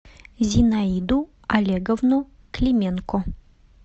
зинаиду олеговну клименко